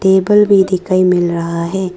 Table भी दिखाई मिल रहा है।